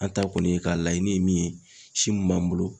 An ta kɔni ye ka laɲini ye min ye si mun b'an bolo